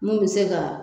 Mun bɛ se ka